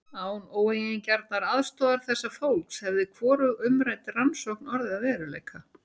Án óeigingjarnrar aðstoðar þessa fólks hefði hvorug umrædd rannsókn orðið að veruleika.